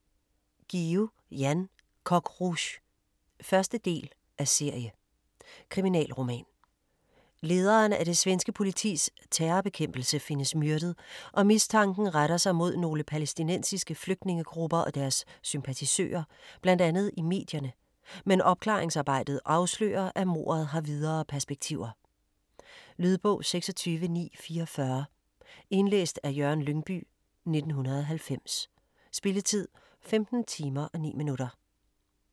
Guillou, Jan: Coq Rouge 1. del af serie. Kriminalroman. Lederen af det svenske politis terrorbekæmpelse findes myrdet, og mistanken retter sig mod nogle palæstinensiske flygtningegrupper og deres sympatisører bl.a. i medierne, men opklaringsarbejdet afslører, at mordet har videre perspektiver. Lydbog 26944 Indlæst af Jørgen Lyngbye, 1990. Spilletid: 15 timer, 9 minutter.